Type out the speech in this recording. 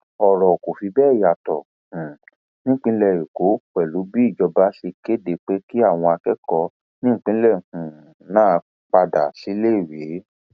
ọrọ kò fi bẹẹ yàtọ um nípìnlẹ èkó pẹlú bí ìjọba ṣe kéde pé kí àwọn akẹkọọ nípìnlẹ um náà padà síléèwé